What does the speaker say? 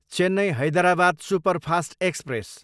Chennai, Hyderabad superfast express